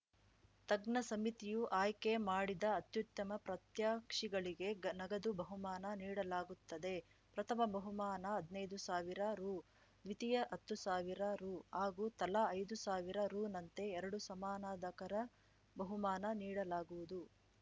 ತಜ್ಞ ಸಮಿತಿಯು ಆಯ್ಕೆ ಮಾಡಿದ ಅತ್ಯುತ್ತಮ ಪ್ರಾತ್ಯಕ್ಷಿಗಳಿಗೆ ನಗದು ಬಹುಮಾನ ನೀಡಲಾಗುತ್ತದೆ ಪ್ರಥಮ ಬಹುಮಾನ ಹದ್ನೈದು ಸಾವಿರ ರು ದ್ವಿತೀಯ ಹತ್ತು ಸಾವಿರ ರು ಹಾಗೂ ತಲಾ ಐದು ಸಾವಿರ ರುನಂತೆ ಎರಡು ಸಮಾನಾಧಕರ ಬಹುಮಾನ ನೀಡಲಾಗುವುದು